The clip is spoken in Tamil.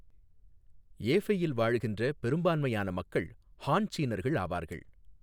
ஏஃபெயில் வாழ்கின்ற பெரும்பான்மையான மக்கள் ஹான் சீனர்கள் ஆவார்கள்.